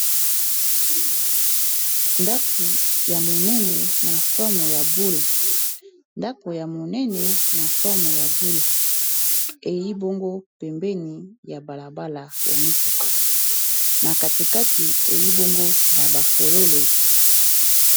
ndako ya monene na forme ya boule ei bongo pembeni ya balabala ya mituka na katikati ei bongo na bafololo